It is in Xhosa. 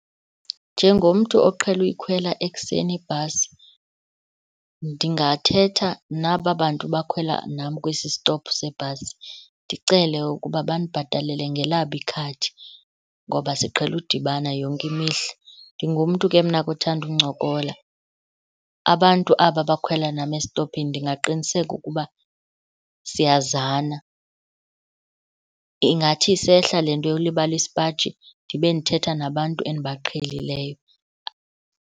Njengomntu oqhele uyikhwela ekuseni ibhasi, ndingathetha naba bantu bakhwela nam kwesi stophu sebhasi ndicele ukuba bandibhatalele ngelabo ikhadi ngoba siqhele udibana yonke imihla. Ndingumntu ke mna ke othanda uncokola, abantu aba bakhwela nam esitophini ndingaqiniseka ukuba siyazana, ingathi isehla le nto yokulibala isipaji ndibe ndithetha nabantu endibaqhelileyo.